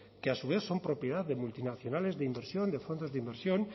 que a su vez son propiedad de multinacionales de inversión de fondos de inversión